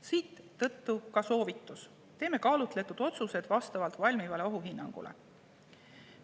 Siit ka soovitus: teeme kaalutletud otsused vastavalt valmivale ohuhinnangule.